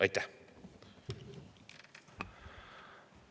Aitäh!